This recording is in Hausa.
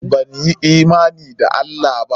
Banyi imani da Allah ba?